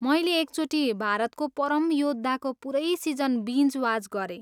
मैले एकचोटि 'भारतको परम योद्धा'को पुरै सिजन बिन्ज वाच गरेँ।